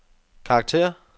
karakter